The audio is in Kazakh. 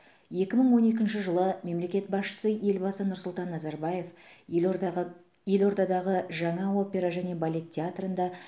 екі мың он екінші жылы мемлекет басшысы елбасы нұрсұлтан назарбаев елордағы елордадағы жаңа опера және балет театрында